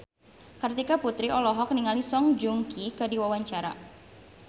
Kartika Putri olohok ningali Song Joong Ki keur diwawancara